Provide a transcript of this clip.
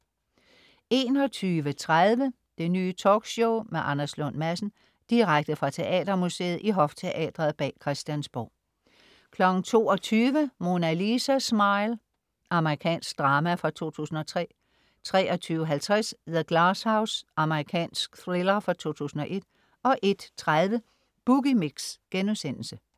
21.30 Det Nye Talkshow med Anders Lund Madsen. Direkte fra Teatermuseet i Hofteatret bag Christiansborg 22.00 Mona Lisa Smile. Amerikansk drama fra 2003 23.50 The Glass House. Amerikansk thriller fra 2001 01.30 Boogie Mix*